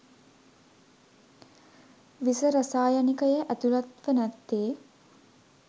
විස රසායනිකය ඇතුළත්ව නැත්තේ